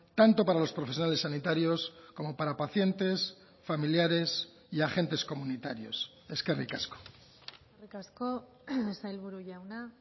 tanto para los profesionales sanitarios como para pacientes familiares y agentes comunitarios eskerrik asko eskerrik asko sailburu jauna